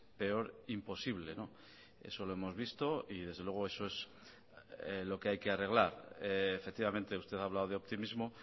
peor imposible eso lo hemos visto y desde luego eso es lo que hay que arreglar efectivamente usted ha hablado de optimismo